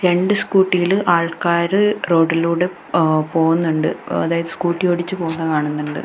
രണ്ട് സ്കൂട്ടിയിൽ ആൾക്കാര് റോഡിലൂടെ ആഹ് പോകുന്നുണ്ട് അതായത് സ്കൂട്ടി ഓടിച്ച് പോകുന്ന കാണുന്നുണ്ട്.